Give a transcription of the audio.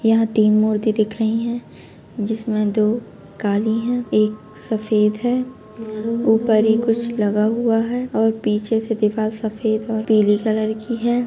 यहाँ तीन मूर्ति दिख रही हैं जिसमें दो काली हैं एक सफेद है ऊपर ही कुछ लगा हुआ है और पीछे से दीवाल सफेद और पील कलर की है।